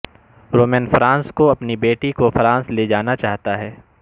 رومین France کو اپنی بیٹی کو فرانس لے جانا چاہتا ہے